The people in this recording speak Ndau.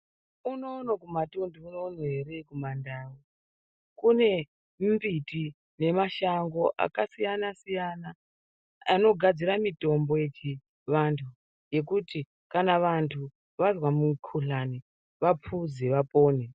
Unono kumatunhu unono ere kumandau kune mbiti nemashango akasiyana siyana anogadzire mitombo yechivanhu yekuti kana vantu vazwe mukhuhlani vapuze vapone.